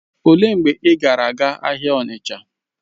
Olee mgbe ị gara aga ahịa Onitsha?